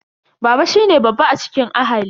Baba shine babba a cikin ahali.